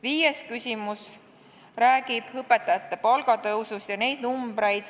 Viies küsimus räägib õpetajate palga tõusust.